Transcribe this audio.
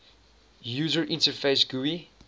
user interface gui